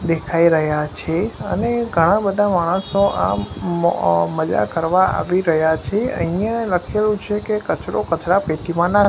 દેખાય રહ્યા છે અને ઘણાં-બધા માણસો આમ મ મઝા કરવા આવી રહ્યા છે અઈયાં લખેલુ છે કે કચરો કચરાપેટીમાં નાંખ --